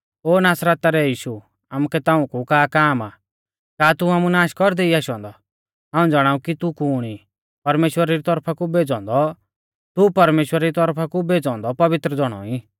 ओ नासरता रै यीशु आमुकै ताऊं कु का काम आ का तू आमु नाश कौरदै ई आशौ औन्दौ हाऊं ज़ाणाऊ कि तू कुण ई तू परमेश्‍वरा री तौरफा कु भेज़ौ औन्दौ पवित्र ज़ौणौ ई